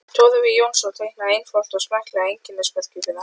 Torfi Jónsson teiknaði einfalt og smekklegt einkennismerki fyrir hann.